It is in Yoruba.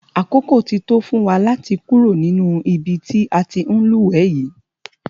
Àkókò ti tó fún wa láti kúrò nínú ibi tí a ti ń lúwẹ̀ẹ́ yìí.